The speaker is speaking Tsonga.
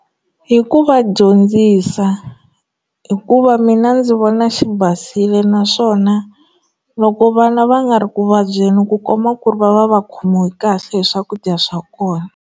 Hi ku va dyondzisa hikuva mina ndzi vona xi basile naswona loko vana va nga ri ku vabyeni ku komba ku ri va va va khomiwi kahle hi swakudya swa kona.